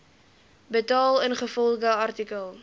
betaal ingevolge artikel